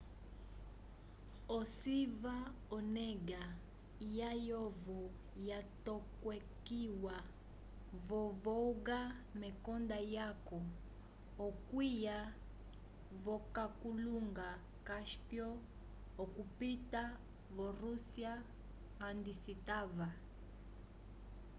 ociva onega layovo yatokekiwa vo-volga mekonda lyaco okwiya v'okalunga cáspio okupita vo-rússia handi citava